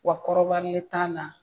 Wa kɔrɔbalen t'a la